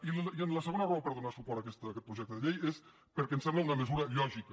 i la segona raó per donar suport a aquest projecte de llei és perquè ens sembla una mesura lògica